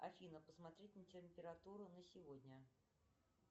афина посмотреть на температуру на сегодня